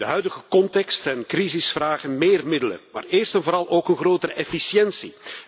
De huidige context en crisis vragen meer middelen, maar eerst en vooral ook een grotere efficiëntie.